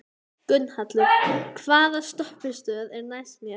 Gunnhallur, hvaða stoppistöð er næst mér?